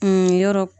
Kun yɔrɔ